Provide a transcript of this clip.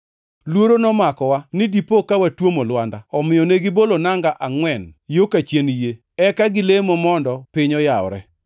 Luoro nomakowa ni dipo ka watwomo lwanda. Omiyo negibolo nanga angʼwen yo kachien yie, eka gilemo mondo piny oyawre.